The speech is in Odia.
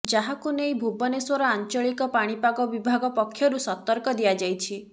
ଯାହାକୁ ନେଇ ଭୁବେନଶ୍ୱର ଆଞ୍ଚଳିକ ପାଣିପାଗ ବିଭାଗ ପକ୍ଷରୁ ସତର୍କ ଦିଆଯାଇଛି